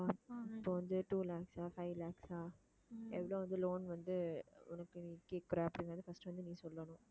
இப்போ வந்து two lakhs ஆ five lakhs ஆ எவ்வளவு வந்து loan வந்து உனக்கு நீ கேட்கிற அப்படின்னு வந்து first வந்து நீ சொல்லணும்